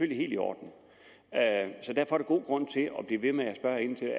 i orden så der er god grund til at blive ved med at spørge ind til